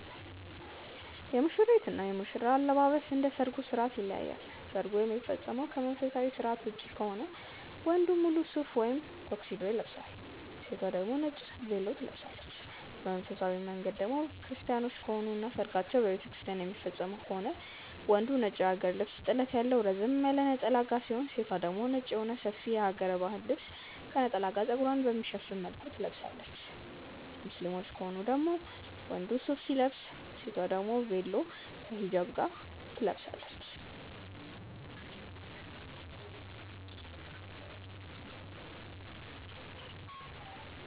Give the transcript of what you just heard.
የሙሽሪት እና ሙሽራ አለባበስ እንደ ሰርጉ ስርዓት ይለያያል። ሰርጉ የሚፈጸመው ከመንፈሳዊ ስርዓት ውጪ ከሆነ ወንዱ ሙሉ ሱፍ ወይም ቶክሲዶ ይለብሳል። ሴቷ ደግሞ ነጭ ቬሎ ትለብሳለች። በመንፈሳዊ መንገድ ደግሞ ክርስቲያኖች ከሆኑ እና ሰርጋቸውን በቤተክርስቲያን የሚፈፅሙ ከሆነ ወንዱ ነጭ የሀገር ልብስ ጥለት ያለው ረዘም ካለ ነጠላ ጋር ሲሆን የሴቷ ደግሞ ነጭ የሆነ ሰፊ የሀገረ ባህል ልብስ ከነጠላ ጋር ፀጉሯን በሚሸፍን መልኩ ትለብሳለች። ሙስሊሞች ከሆኑ ደግሞ ወንዱ ሱፍ ሲለብስ ሴቷ ደግሞ ቬሎ ከ ሂጃብ ጋር ትለብሳለች።